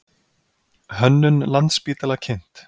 Hönnun Landspítala kynnt